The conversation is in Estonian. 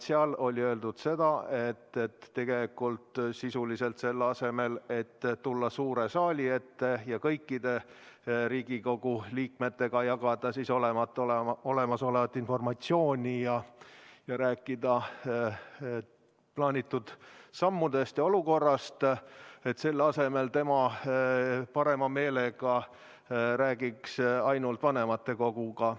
Seal oli öeldud sisuliselt, et selle asemel, et tulla suure saali ette ja kõikide Riigikogu liikmetega jagada olemasolevat informatsiooni ja rääkida plaanitud sammudest ja olukorrast, tema parema meelega räägiks ainult vanematekoguga.